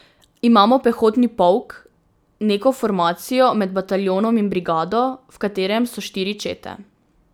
Imamo pehotni polk, neko formacijo med bataljonom in brigado, v katerem so štiri čete.